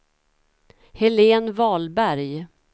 Helen Wahlberg